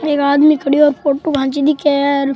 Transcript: एक आदमी खड्यो और फोटो खेंची दिखे है।